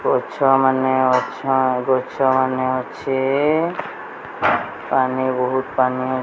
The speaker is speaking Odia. ଗଛମାନେ ଅଛ ଆଉ ଗଛମାନେ ଅଛି ପାନି ବହୁତ ପାନି ।